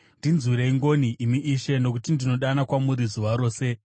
Ndinzwirei ngoni, imi Ishe, nokuti ndinodana kwamuri zuva rose.